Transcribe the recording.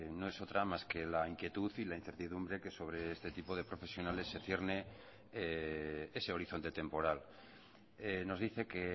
no es otra más que la inquietud y la incertidumbre que sobre este tipo de profesionales se cierne ese horizonte temporal nos dice que